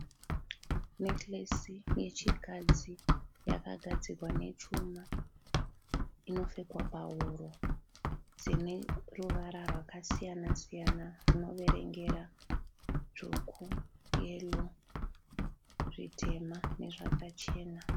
Nekiresi yechikadzi yakagadzirwa nechuma inopfekwa pahuro dzine ruvara rwakasiyana siyana rwunoverengera dzvuku, yero, zvitema nezvakachena.